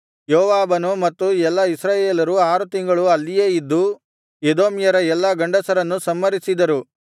ಯೋವಾಬನು ಮತ್ತು ಎಲ್ಲಾ ಇಸ್ರಾಯೇಲರು ಆರು ತಿಂಗಳು ಅಲ್ಲಿಯೇ ಇದ್ದು ಎದೋಮ್ಯರ ಎಲ್ಲಾ ಗಂಡಸರನ್ನು ಸಂಹರಿಸಿದರು